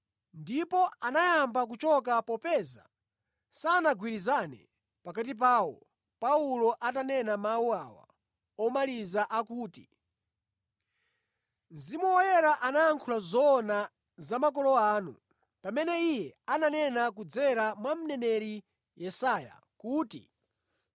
Ndipo anayamba kuchoka popeza sanagwirizane pakati pawo Paulo atanena mawu awa omaliza akuti, “Mzimu Woyera anayankhula zoona za makolo anu pamene Iye ananena kudzera mwa Mneneri Yesaya kuti,